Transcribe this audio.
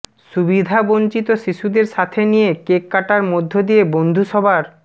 সুবিধাবঞ্চিত শিশুদের সাথে নিয়ে কেক কাটার মধ্য দিয়ে বন্ধুসভার